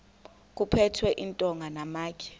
kuphethwe iintonga namatye